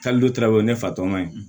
Hali trawuli ne fa tɔ ma